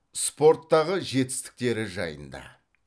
спорттағы жетістіктері жайында